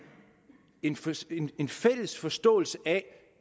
interesse i en fælles forståelse af